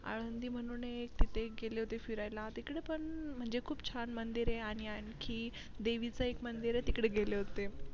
आळंदी म्हणून एक तिथे एक गेली होती फिरायला टीकडेपण म्हणजे खूप छान मंदिर ए आणि आणखी देवीचं एक मंदिर ए तिकडे गेली होती